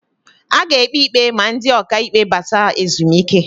A ga-ekpi ikpe ma ndị ọka ikpe bata ezumike.